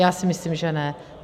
Já si myslím, že ne.